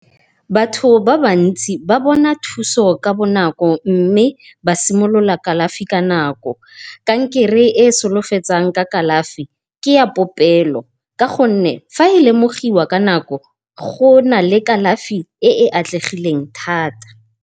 Batho ba ba ntsi ba bona thuso ka bonako mme ba simolola kalafi ka nako. Kankere e solofetsang ka kalafi ke a popelo, ka gonne fa e lemogiwa ka nako go na le kalafi e e atlegileng thata.